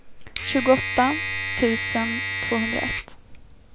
tjugoåtta tusen tvåhundraett